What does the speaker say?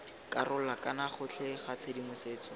karolo kana gotlhe ga tshedimosetso